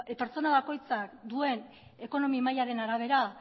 pertsona bakoitzak duen ekonomi mailaren arabera